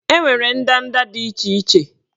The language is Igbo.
Enwere ndanda dị iche iche